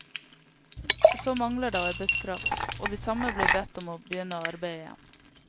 Så mangler det arbeidskraft, og de samme blir bedt om å begynne å arbeide igjen.